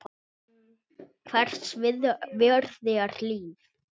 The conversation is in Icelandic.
Hvers virði er líf?